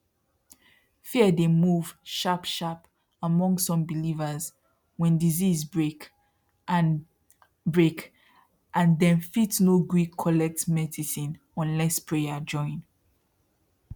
fear dey move sharp sharp among some believers when disease break and break and dem fit no gree collect medicine unless prayer join